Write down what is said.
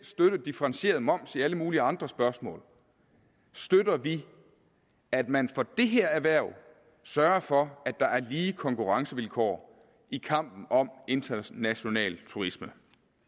støtte differentieret moms i alle mulige andre spørgsmål støtter vi at man for det her erhverv sørger for at der er lige konkurrencevilkår i kampen om international turisme